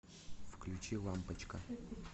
включи лампочка